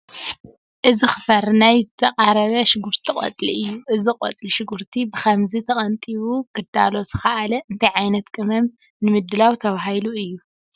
እዚ ክፈሪ ናይ ዝተቓረበ ሽጉርቲ ቆፅሊ እዩ፡፡ እዚ ቆፅሊ ሽጉርቲ ብኸምዚ ተቐንጢቡ ክዳሎ ዝኸኣለ እንታይ ዓይነት ቅመም ንምድላው ተባሂሉ እዩ?